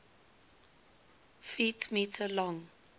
ft m long